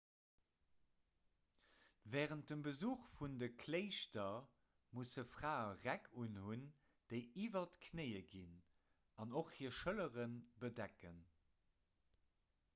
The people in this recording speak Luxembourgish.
wärend dem besuch vun de kléischter musse frae räck unhunn déi iwwer d'knéie ginn an och hir schëllere bedecken